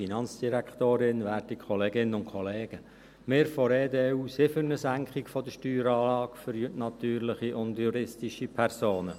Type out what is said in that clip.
Wir von der EDU sind für eine Senkung der Steueranlage für natürliche und juristische Personen.